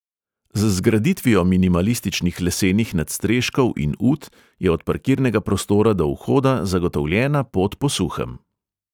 Z zgraditvijo minimalističnih lesenih nadstreškov in ut je od parkirnega prostora do vhoda zagotovljena pot po suhem.